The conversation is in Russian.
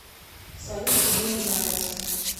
салют тебе не нравится